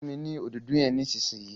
funmi ní Òdòdó yén nísìsiyìí!